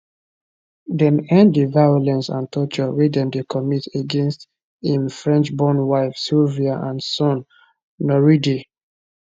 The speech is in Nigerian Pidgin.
dem end di violence and torture wey dem dey commit against im frenchborn wife sylvia and son noureddi